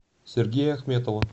сергея ахметова